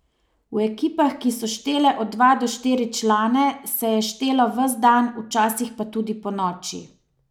V ekipah, ki so štele od dva do štiri člane, se je štelo ves dan, včasih pa tudi ponoči.